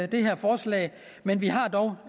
det her forslag men vi har dog